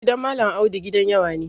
Gidan Malam Audu gidan yawa ne.